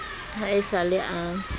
ha e sa le a